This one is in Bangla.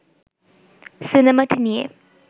সিনেমাটি নিয়ে